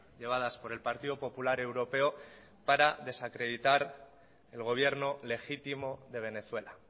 llevadas por el partido popular europeo para desacreditar el gobierno legítimo de venezuela